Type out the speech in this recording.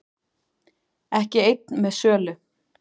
Ekki einn með sölu